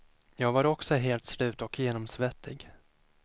Jag var också helt slut och genomsvettig.